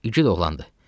İgid oğlandı.